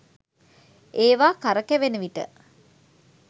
ඒවා කරකැවෙන විට